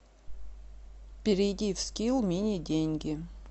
перейди в скилл мини деньги